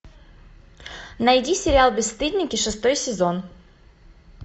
найди сериал бесстыдники шестой сезон